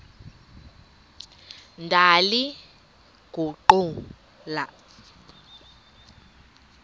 ndaliguqula